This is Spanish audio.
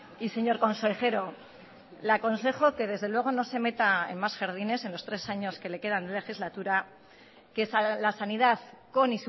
y señor consejero le aconsejo que desde luego no se meta en más jardines en los tres años que le quedan de legislatura que la sanidad con